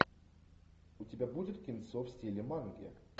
у тебя будет кинцо в стиле манги